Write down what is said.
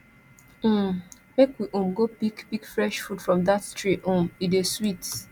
um make we um go pick pick fresh fruit from dat tree um e dey sweet